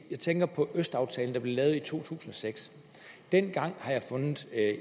jeg tænker på østaftalen der blev lavet i to tusind og seks dengang har jeg fundet